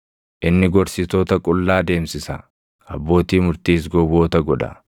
Inni gorsitoota qullaa deemsisa; abbootii murtiis gowwoota godha.